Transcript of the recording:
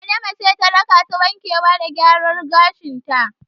Adama ce ta rakata wankewa da gyara gashin ta.